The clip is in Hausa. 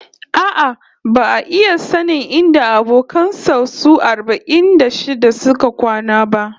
A'a, ba'a iya sanin inda abokan sa su arba'in da shida suka kwana ba